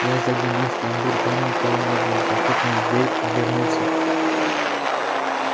я заглянул в тамбур там никого не было захлопнул дверь обернулся